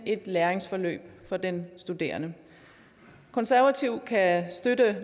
et læringsforløb for den studerende konservative kan støtte